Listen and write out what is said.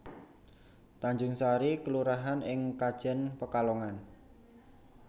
Tanjungsari kelurahan ing Kajen Pekalongan